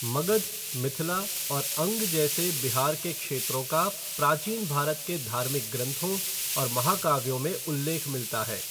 मगध, मिथिला और अंग जैसे बिहार के क्षेत्रों का प्राचीन भारत के धार्मिक ग्रंथों और महाकाव्यों में उल्लेख मिलता है।